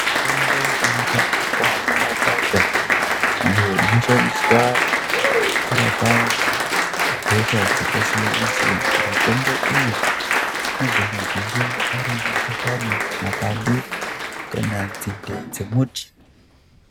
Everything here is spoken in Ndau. Mitombo inowanikwa mumakwasha iyo inoshandiswa kurapa hosha dzakasiyana-siyana. Mitombo iyi inogona kunge ari mashakani, mapande kana nzinde dzemuti.